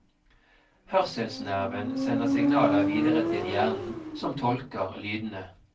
Hørselsnerven sender signaler videre til hjernen, som tolker lydene.